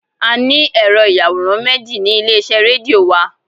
A ní Ẹ̀rọ-ìyàwòrán méjì ní ilé-iṣẹ́ rédíò wa.